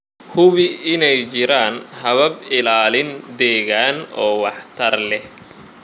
Hubi inay jiraan habab ilaalin deegaan oo waxtar leh.